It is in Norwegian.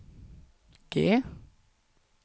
G